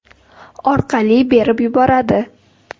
orqali berib yuboradi.